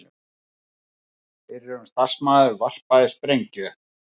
Fyrrum starfsmaður varpaði sprengju